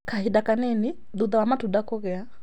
Kahinda kanini thutha wa matunda kũgĩa.